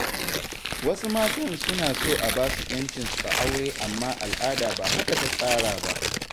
Wasu matan suna so a basu ƴancinsu a aure amma al'ada ba haka ta tsara ba.